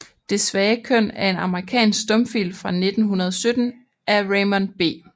Det svage Køn er en amerikansk stumfilm fra 1917 af Raymond B